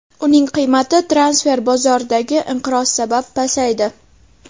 Uning qiymati transfer bozoridagi inqiroz sabab pasaydi.